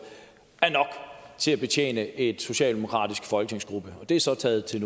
er nok til at betjene en socialdemokratisk folketingsgruppe og det er så taget til